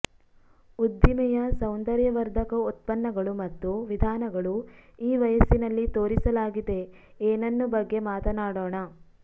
ಉದ್ದಿಮೆಯ ಸೌಂದರ್ಯವರ್ಧಕ ಉತ್ಪನ್ನಗಳು ಮತ್ತು ವಿಧಾನಗಳು ಈ ವಯಸ್ಸಿನಲ್ಲಿ ತೋರಿಸಲಾಗಿದೆ ಏನನ್ನು ಬಗ್ಗೆ ಮಾತನಾಡೋಣ